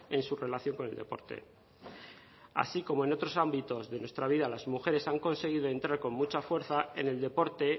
en su relación con el deporte así como en otros ámbitos de nuestra vida las mujeres han conseguido entrar con mucha fuerza en el deporte